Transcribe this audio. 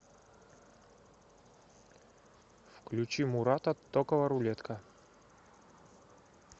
включи мурата токова рулетка